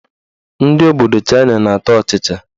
Ndị obodo Chaịna na-ata ọchịchị.